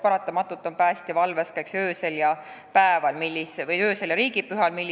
Paratamatult on päästja ju valves ka öösiti ja riigipühade ajal.